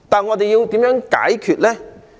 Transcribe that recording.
我們要如何解決呢？